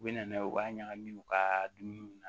U bɛ na n'a ye u b'a ɲagami u ka dumuniw na